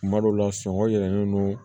Kuma dɔw la sɔngɔ yɛlɛnnen don